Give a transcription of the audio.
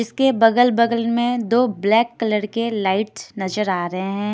इसके बगल बगल मे दो ब्लैक कलर के लाइट्स नज़र आ रहे है।